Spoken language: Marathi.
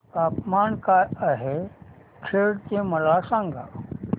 तापमान काय आहे खेड चे मला सांगा